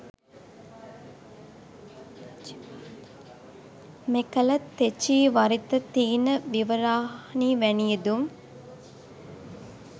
මෙකල තෙචීවරිත, තීන විවරානි වැනි යෙදුම්